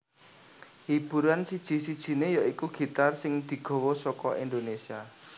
Hiburan siji sijinè ya iku gitar sing digawa saka Indonesia